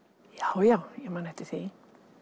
já já ég man eftir því